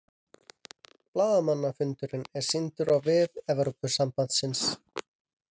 Blaðamannafundurinn er sýndur á vef Evrópusambandsins